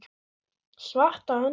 Svarta höndin